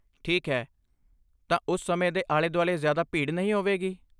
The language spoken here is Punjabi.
ਠੀਕ ਹੈ, ਤਾਂ ਉਸ ਸਮੇਂ ਦੇ ਆਲੇ ਦੁਆਲੇ ਜ਼ਿਆਦਾ ਭੀੜ ਨਹੀਂ ਹੋਵੇਗੀ?